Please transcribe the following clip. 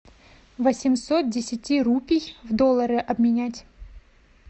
восемьсот десяти рупий в доллары обменять